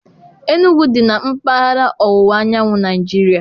Enugwu dị na mpaghara ọwụwa anyanwụ Nigeria.